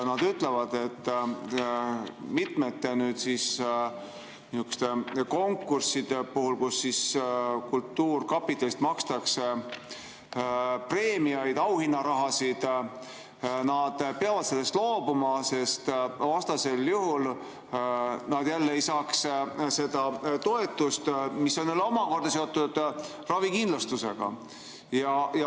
Nad ütlevad, et mitmetest konkurssidest, kus kultuurkapitalist makstakse preemiaid, auhinnaraha, peavad nad loobuma, sest vastasel juhul nad ei saaks seda toetust, mis on omakorda seotud ravikindlustusega.